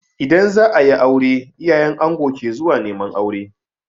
In za a yi aure, iyayen ango ke zuwa neman aure.